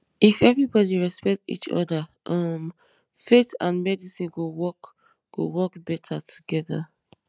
if everybody respect each other um faith and medicine go work go work better together